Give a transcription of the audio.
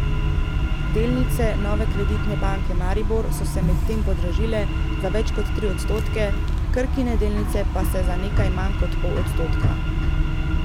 Delnice Nove Kreditne banke Maribor so se medtem podražile za več kot tri odstotke, Krkine delnice pa za nekaj manj kot pol odstotka.